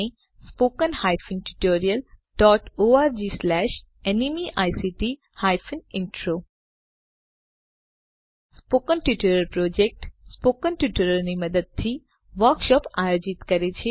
spoken tutorial project spoken ટ્યુટોરીયલોની મદદથી workshop આયોજિત કરે છે